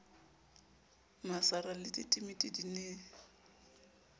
masara le ditimiti di ne